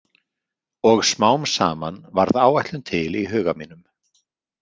Og smám saman varð áætlun til í huga mínum.